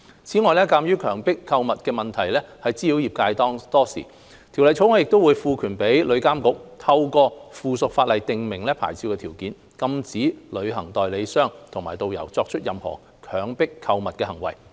此外，鑒於強迫購物的問題困擾業界多時，《條例草案》亦會賦權旅監局透過附屬法例訂明牌照條件，禁止旅行代理商和導遊作出任何強迫購物的行為。